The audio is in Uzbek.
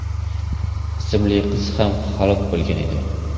ismli qiz ham halok bo‘lgan edi.